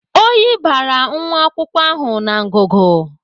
Oyi bara nwa akwụkwọ ahụ na ngụgụ.